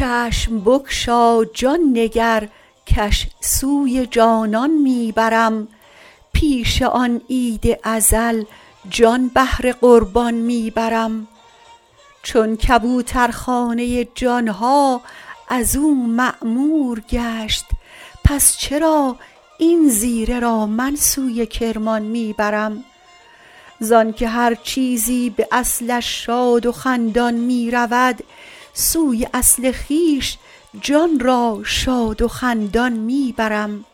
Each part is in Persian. چشم بگشا جان نگر کش سوی جانان می برم پیش آن عید ازل جان بهر قربان می برم چون کبوترخانه جان ها از او معمور گشت پس چرا این زیره را من سوی کرمان می برم زانک هر چیزی به اصلش شاد و خندان می رود سوی اصل خویش جان را شاد و خندان می برم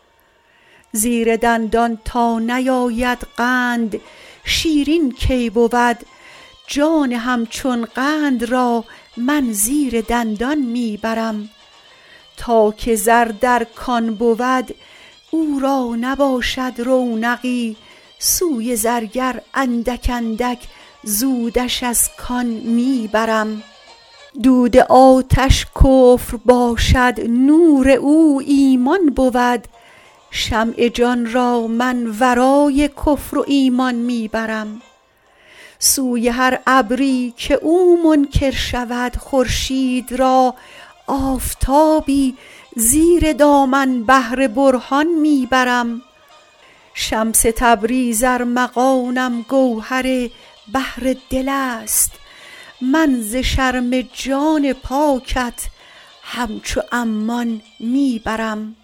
زیر دندان تا نیاید قند شیرین کی بود جان همچون قند را من زیر دندان می برم تا که زر در کان بود او را نباشد رونقی سوی زرگر اندک اندک زودش از کان می برم دود آتش کفر باشد نور او ایمان بود شمع جان را من ورای کفر و ایمان می برم سوی هر ابری که او منکر شود خورشید را آفتابی زیر دامن بهر برهان می برم شمس تبریز ارمغانم گوهر بحر دل است من ز شرم جان پاکت همچو عمان می برم